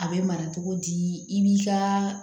A bɛ mara cogo di i b'i ka